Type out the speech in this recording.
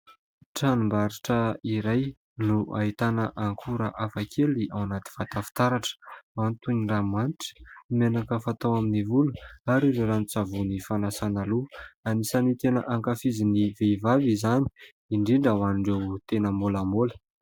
Tranombarotra iray no ahitana akora hafakely ao anaty vata fitaratra, ao ny toy ny ranomanitra, ny menaka fatao amin'ny volo na ary ireo ranon-tsavony fanasana loha. Anisan'ny tena ankafizin'ny vehivavy izany indrindra ho an'ireo tena molamola.